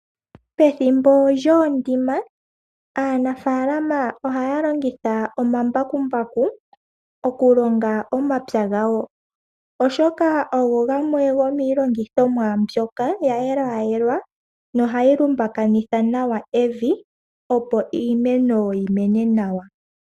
Pethimbo lyoondima aanafaalama ohaya longitha omambakumbaku okupulula , okulonga omapya gawo, oshoka ogo gamwe yomiilongithomwa yayelwaayelwa mbyoka nohayi lumbakanitha nawa evi opo iimeno yimene nawa.